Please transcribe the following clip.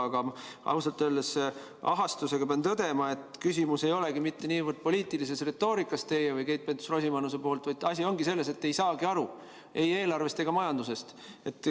Aga ausalt öeldes ahastusega pean tõdema, et küsimus ei olegi mitte niivõrd teie või Keit Pentus-Rosimannuse poliitilises retoorikas, vaid asi on selles, et te ei saa aru ei eelarvest ega majandusest.